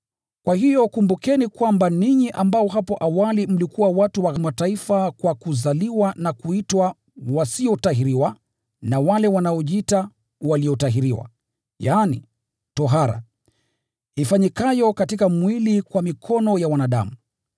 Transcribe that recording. Kwa hiyo kumbukeni kwamba ninyi ambao hapo awali mlikuwa watu wa Mataifa kwa kuzaliwa na kuitwa “wasiotahiriwa” na wale wanaojiita “waliotahiriwa” (yaani tohara ifanyikayo katika mwili kwa mikono ya wanadamu),